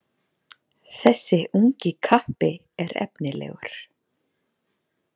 Þessi ungi kappi er efnilegur